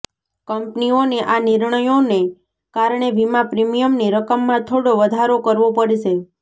કંપનીઓને આ નિર્ણયોને કારણે વીમા પ્રીમિયમની રકમમાં થોડો વધારો કરવો પડશે